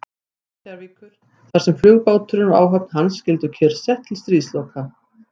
Reykjavíkur, þar sem flugbáturinn og áhöfn hans skyldu kyrrsett til stríðsloka.